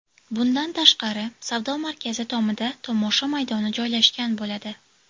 Bundan tashqari, savdo markazi tomida tomosha maydoni joylashgan bo‘ladi.